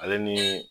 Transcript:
Ale ni